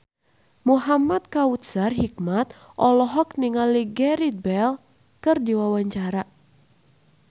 Muhamad Kautsar Hikmat olohok ningali Gareth Bale keur diwawancara